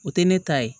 O tɛ ne ta ye